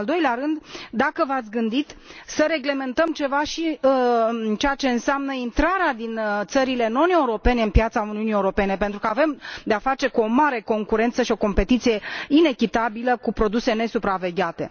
În al doilea rând, dacă v ați gândit să reglementăm ceva și în ceea ce înseamnă intrarea din țările non europene pe piața Uniunii Europene, pentru că avem de a face cu o mare concurență și o competiție inechitabilă cu produse nesupravegheate.